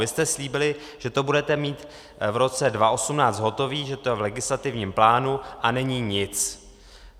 Vy jste slíbili, že to budete mít v roce 2018 hotové, že to je v legislativním plánu, a není nic.